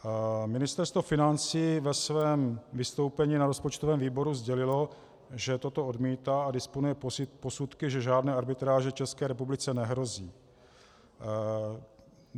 Ministerstvo financí ve svém vystoupení na rozpočtovém výboru sdělilo, že toto odmítá a disponuje posudky, že žádné arbitráže České republice nehrozí.